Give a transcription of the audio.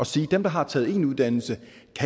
sige at dem der har taget en uddannelse